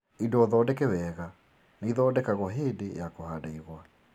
Indo thondeke wega nĩithondekagwo hĩndĩ ya kũhanda igwa